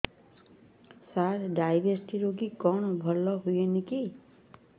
ସାର diabetes ରୋଗ କଣ ଭଲ ହୁଏନି କି